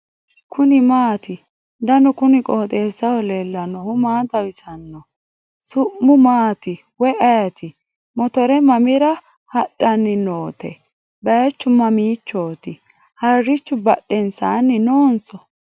kuni maati ? danu kuni qooxeessaho leellannohu maa xawisanno su'mu maati woy ayeti ? motore mamira hadahnni note baychu mamiichooti harichu badhensaanni noonso ?